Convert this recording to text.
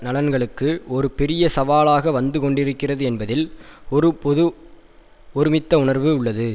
நலன்களுக்கு ஒரு பெரிய சவாலாக வந்துகொண்டிருக்கிறது என்பதில் ஒரு பொது ஒருமித்த உணர்வு உள்ளது